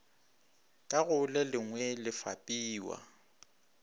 ka go lelengwe le fapiwa